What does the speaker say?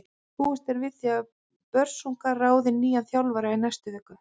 Búist er við því að Börsungar ráði nýjan þjálfara í næstu viku.